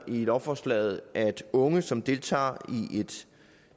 i lovforslaget at unge som deltager i en